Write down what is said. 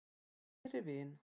Kæri vin!